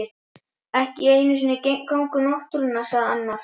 Ekki einu sinni gangur náttúrunnar sagði annar.